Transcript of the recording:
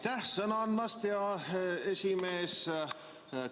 Aitäh sõna andmast, hea esimees!